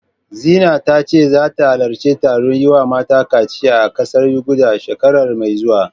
Zina ta ce zata halarci taron yi wa mata kaciya a ƙasar Yuganda, shekara mai zuwa.